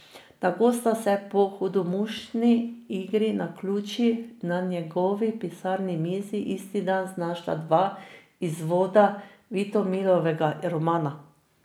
Tako sta se po hudomušni igri naključij na njegovi pisalni mizi isti dan znašla dva izvoda Vitomilovega romana.